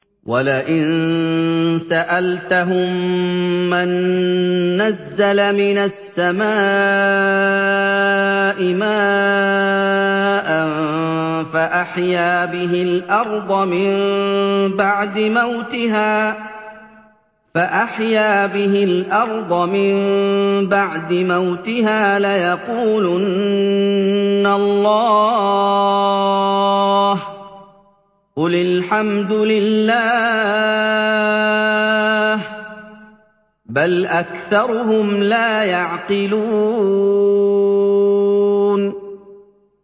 وَلَئِن سَأَلْتَهُم مَّن نَّزَّلَ مِنَ السَّمَاءِ مَاءً فَأَحْيَا بِهِ الْأَرْضَ مِن بَعْدِ مَوْتِهَا لَيَقُولُنَّ اللَّهُ ۚ قُلِ الْحَمْدُ لِلَّهِ ۚ بَلْ أَكْثَرُهُمْ لَا يَعْقِلُونَ